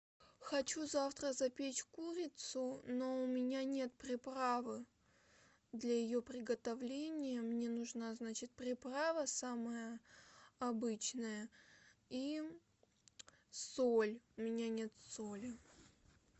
хочу завтра запечь курицу но у меня нет приправы для ее приготовления мне нужна значит приправа самая обычная и соль у меня нет соли